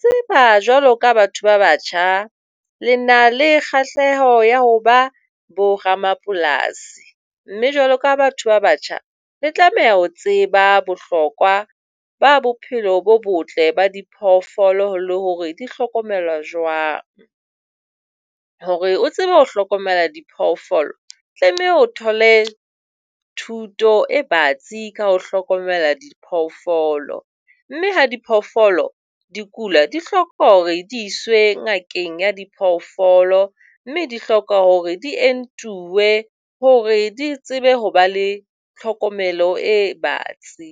Tseba jwalo ka batho ba batjha le na le kgahleho ya hoba boramapolasi. Mme jwalo ka batho ba batjha, le tlameha ho tseba bohlokwa ba bophelo bo botle ba diphoofolo le hore di hlokomelwa jwang. Hore o tsebe ho hlokomela diphoofolo tlameha o thole thuto e batsi ka ho hlokomela diphoofolo, mme ha diphoofolo di kula, di hloka hore di iswe ngakeng ya diphoofolo mme di hloka hore di entiwe, hore di tsebe ho ba le tlhokomelo e batsi.